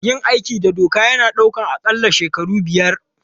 Yin aiki da doka yana ɗaukar aƙalla shekaru biyar.